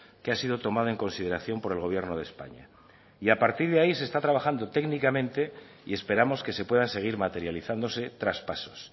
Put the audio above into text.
que ha sido tomada en consideración por el gobierno de españa y a partir de ahí se está trabajando técnicamente y esperamos que se puedan seguir materializándose traspasos